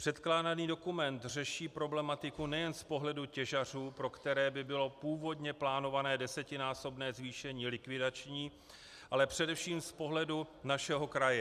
Předkládaný dokument řeší problematiku nejen z pohledu těžařů, pro které by bylo původně plánované desetinásobné zvýšení likvidační, ale především z pohledu našeho kraje.